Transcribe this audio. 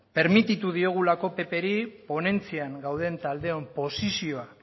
permititu diogulako ppri ponentzian gauden taldeon posizioa